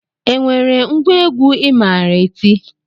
E nwere ngwa egwu I maara eti?